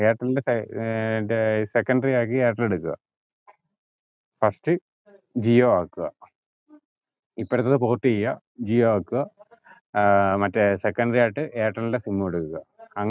എയർടെൽന്റെ സെ ഏർ മറ്റേ secondary ആക്കി എയർടെൽ എട്ക്കുവ first ജിയോ ആക്കുവ ഇപ്പറതത് port ചെയ്യുവ ജിയോ ആക്കുവ ഏർ മറ്റേ secondary ആയിട്ട് ഐർട്ടലിന്റെ sim കൊടുക്കുവ